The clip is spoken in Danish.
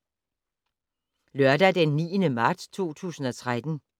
Lørdag d. 9. marts 2013